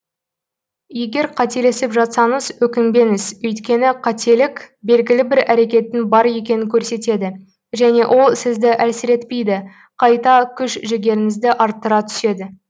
егер қателесіп жатсаңыз өкінбеңіз өйткені қателік белгілі бір әрекеттің бар екенін көрсетеді және ол сізді әлсіретпейді қайта күш жігеріңізді арттыра түседі